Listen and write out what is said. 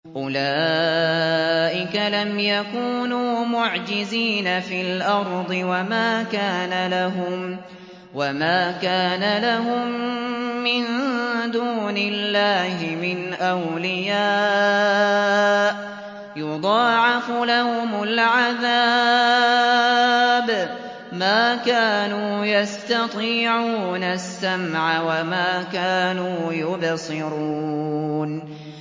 أُولَٰئِكَ لَمْ يَكُونُوا مُعْجِزِينَ فِي الْأَرْضِ وَمَا كَانَ لَهُم مِّن دُونِ اللَّهِ مِنْ أَوْلِيَاءَ ۘ يُضَاعَفُ لَهُمُ الْعَذَابُ ۚ مَا كَانُوا يَسْتَطِيعُونَ السَّمْعَ وَمَا كَانُوا يُبْصِرُونَ